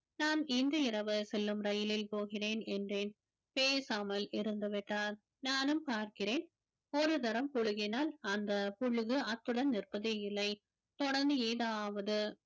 நான் இன்று இரவு செல்லும் ரயிலில் போகிறேன் என்றேன் பேசாமல் இருந்துவிட்டார் நானும் பார்க்கிறேன் ஒரு தரம் புழுகினால் அந்த புழுவு அத்துடன் நிற்பதே இல்லை தொடர்ந்து ஏதாவது